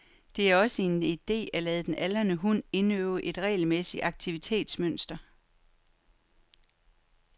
Det er også en ide at lade den aldrende hund indøve et regelmæssigt aktivitetetsmønster.